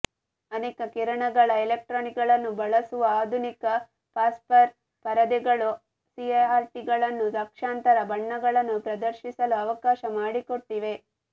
ಅನೇಕ ಕಿರಣಗಳ ಎಲೆಕ್ಟ್ರಾನ್ಗಳನ್ನು ಬಳಸುವ ಆಧುನಿಕ ಫಾಸ್ಫರ್ ಪರದೆಗಳು ಸಿಆರ್ಟಿಗಳನ್ನು ಲಕ್ಷಾಂತರ ಬಣ್ಣಗಳನ್ನು ಪ್ರದರ್ಶಿಸಲು ಅವಕಾಶ ಮಾಡಿಕೊಟ್ಟಿವೆ